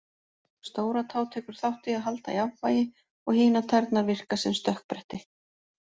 Stóratá tekur þátt í að halda jafnvægi og hinar tærnar virka sem stökkbretti.